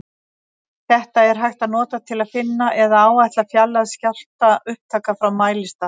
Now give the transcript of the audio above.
Þetta er hægt að nota til að finna eða áætla fjarlægð skjálftaupptaka frá mælistað.